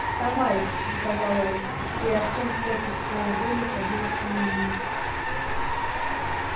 вставай приказал он и артем против своей воли поднялся на ноги